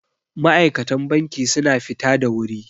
ma'aikatan banki suna fita da wuri